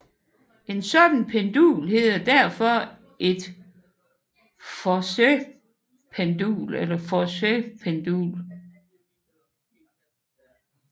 Et sådan pendul hedder derfor et Foucaultpendul eller Foucaults pendul